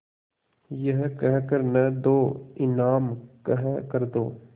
यह कह कर न दो इनाम कह कर दो